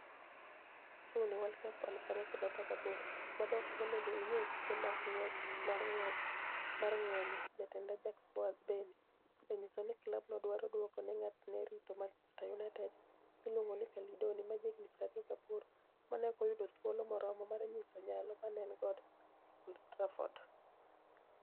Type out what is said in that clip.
(Suni) World Cup2018: Gik madonigo moni ego inig'e e tuke mag nig'wech mar nig'wech mar nig'weni, jatend Ajax, Boaz Beni, oseniyiso nii klabno dwaro duoko nig'at ma ni e rito Manichester Uniited, miluonigo nii Cally Doni, ma jahiginii 28, ma ni e ok oyudo thuolo moromo mar niyiso niyalo ma ni e eni - go e Old Trafford.